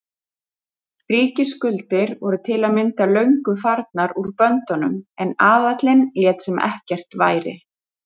Ríkisskuldir voru til að mynda löngu farnar úr böndunum en aðallinn lét sem ekkert væri.